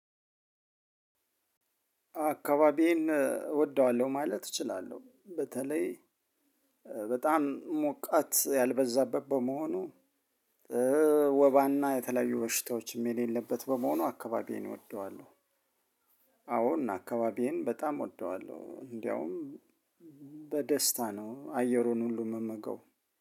አካባቢዬን እወደዋለሁ ማለት እችላለሁ በተለይ በጣም ሞቃት ያልበዛበት በመሆኑ ወባና የተለያዩ በሽታዎችም የሌለበት በመሆኑ አካባቢዬን እወደዋለሁ። አዎን አካባቢዬን በጣም እወደዋለሁ። እንደውም በደስታ ነው አየሩን ሁሉ እምምገው